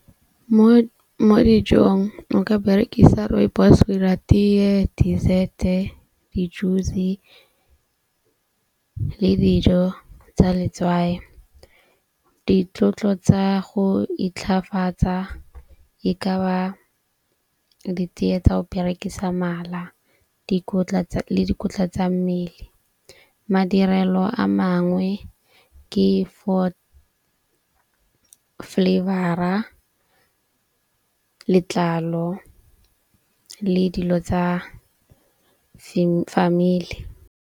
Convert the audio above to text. Mo mo dijong o ka berekisa rooibos ho 'ira teye, dessert-e, di juice le dijo tsa letswai. Ditlotlo tsa go itlhafatsa e ka ba diteye tsa go berekisa mala le dikotla tsa mmele. Madirelo a mangwe ke flavour-a, letlalo le dilo tsa family.